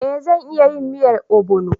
Eh zan iya yin miyan obono